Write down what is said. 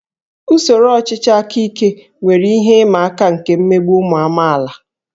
Usoro ọchịchị aka ike nwere ihe ịma aka nke mmegbu ụmụ amaala